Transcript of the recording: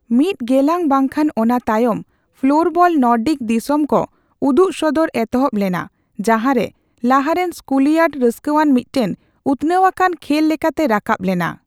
ᱢᱤᱫ ᱜᱮᱞᱟᱝ ᱵᱟᱝᱠᱷᱟᱱ ᱚᱱᱟ ᱛᱟᱭᱚᱢ, ᱯᱷᱞᱳᱨᱵᱚᱞ ᱱᱚᱨᱰᱤᱠ ᱫᱤᱥᱚᱢ ᱠᱚ ᱩᱫᱩᱜᱥᱚᱫᱚᱨ ᱮᱛᱚᱦᱚᱵ ᱞᱮᱱᱟ ᱡᱟᱦᱟᱸᱨᱮ ᱞᱟᱦᱟᱨᱮᱱ ᱥᱠᱩᱞᱤᱭᱟᱨᱰ ᱨᱟᱹᱥᱠᱟᱹᱣᱟᱱ ᱢᱤᱫᱴᱟᱝ ᱩᱛᱱᱟᱹᱣᱟᱠᱟᱱ ᱠᱷᱮᱞ ᱞᱮᱠᱟᱛᱮ ᱨᱟᱠᱟᱵ ᱞᱮᱱᱟ ᱾